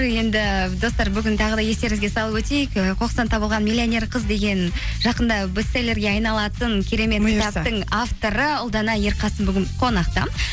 енді достар бүгін тағы да естеріңізге салып өтейік і қоқыстан табылған миллионер қыз деген жақында бестеллерге айналатын керемет авторы ұлдана ерқасым бүгін қонақта